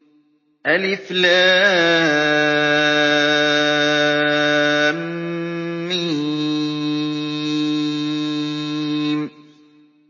الم